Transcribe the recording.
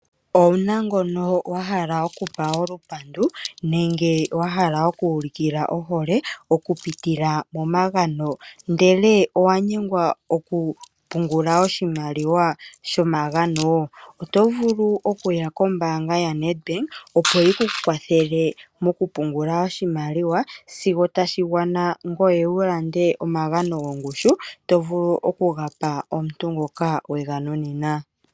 Owu na ngono wa hala okupa olupandu nenge ngono wa hala oku ulikila ohole, okupitila momagano ndele owa nyengwa okupungula oshimaliwa shomagano? Oto vulu okuya kombaanga yaNedbank, opo yi ku kwathele mokupungula oshimaliwa, sigo tashi gwana ngoye wu lande omagano gongushu to vulu oku ga pa omuntu ngoka we ga nunina.